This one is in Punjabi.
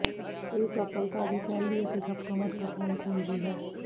ਇਹ ਸਫਲਤਾ ਦੀ ਪਹਿਲੀ ਅਤੇ ਸਭ ਤੋਂ ਮਹੱਤਵਪੂਰਣ ਕੁੰਜੀ ਹੈ